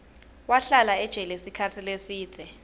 wahlala ejele sikhatsi lesidze